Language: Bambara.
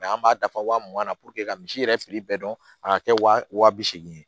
an b'a dafa wa mugan na ka misi yɛrɛ fili bɛɛ dɔn a ka kɛ wa bi segin ye